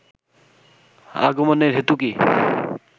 আগমনের হেতু কী